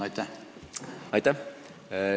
Aitäh!